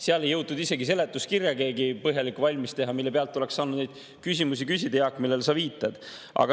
Siis ei jõudnud keegi isegi põhjalikku seletuskirja valmis teha, mille põhjal oleks saanud neid küsimusi küsida, millele sa, Jaak, viitad.